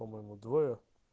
по-моему двое